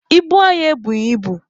Ibu anyị ebughị ibu.